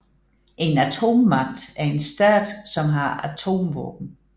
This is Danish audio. En atommagt er en stat som har atomvåben